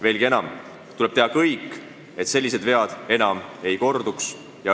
Veelgi enam, tuleb teha kõik, et sellised vead enam ei korduks.